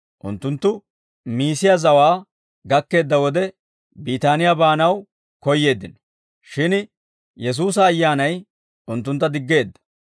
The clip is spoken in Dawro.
Unttunttu Miisiyaa zawaa gakkeedda wode, Biitaniyaa baanaw koyyeeddino; shin Yesuusa Ayyaanay unttuntta diggeedda.